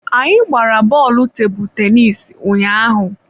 Anyị gbara bọọlụ tebụl tenisi ụnyaahụ.